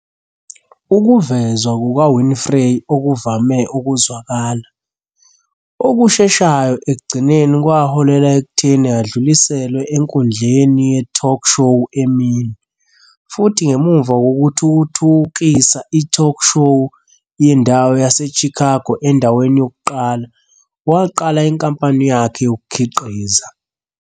Ukuvezwa kukaWinfrey okuvame ukuzwakala, okusheshayo ekugcineni kwaholela ekutheni adluliselwe enkundleni ye-talk show emini, futhi ngemuva kokuthuthukisa i-talk-show yendawo yaseChicago endaweni yokuqala, waqala inkampani yakhe yokukhiqiza.